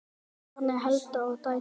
Bjarni, Helga og dætur.